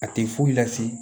A tɛ foyi lase